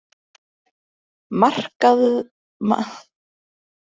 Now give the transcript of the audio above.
Markaflóðsflöt, Ránarbakki, Skerjabakki, Eyði Mörk